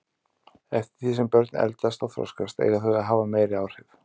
Eftir því sem börn eldast og þroskast eiga þau að hafa meiri áhrif.